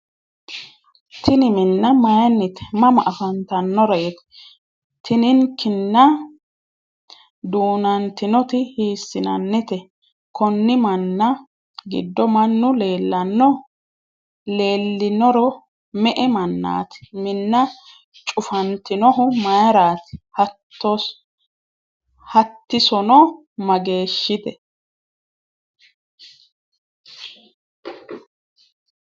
Tini minna mayinnite? Mama afantannoreeti? Tininkimna duunantinoti hiissinannite? konni minna giddo mannu leellanno? Leellinoro me'e mannaati? Minna cufantinohu mayraati? Hatissono mageeshshite?